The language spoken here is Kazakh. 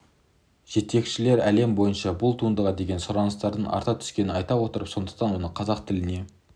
жетекшілері әлем бойынша бұл туындыға деген сұраныстың арта түскенін айтып отыр сондықтан оны қазақ тіліне